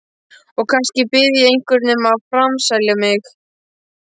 Og kannski bið ég einhvern um að framselja mig.